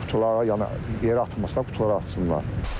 Qutulara yəni yerə atmasınlar, qutulara atsınlar.